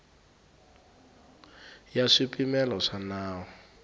ya hi swipimelo swa nawu